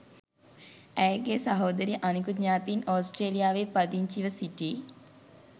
ඇයගේ සහෝදරිය අනිකුත් ඥාතීන් ඔස්ට්‍රේලියාවේ පදිංචිව සිටි